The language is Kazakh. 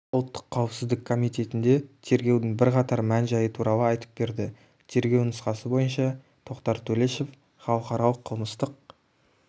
ұлттық қауіпсіздік комитетінде тергеудің бірқатар мән-жайы туралы айтып берді тергеу нұсқасы бойынша тоқтар төлешов халықаралық қылмыстық